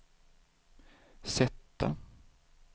sätta